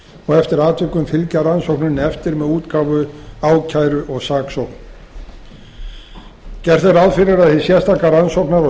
og eftir atvikum fylgi rannsókninni eftir með útgáfu ákæru og saksókn gert er ráð fyrir að hið sérstaka rannsóknar og